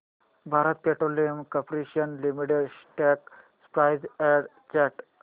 Bharat petroleum corporation limited stock price and chart